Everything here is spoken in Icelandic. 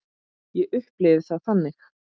Ég upplifi það þannig.